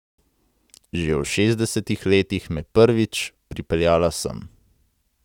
Že v šestdesetih letih me prvič pripeljala sem.